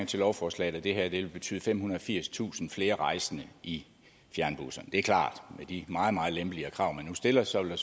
til lovforslaget at det her vil betyde femhundrede og firstusind flere rejsende i fjernbusserne det er klart at med de meget meget lempeligere krav man nu stiller så vil